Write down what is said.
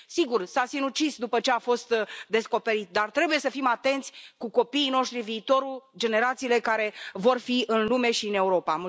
Sigur, s a sinucis după ce a fost descoperit, dar trebuie să fim atenți cu copiii noștri, viitorul, generațiile care vor fi în lume și în Europa.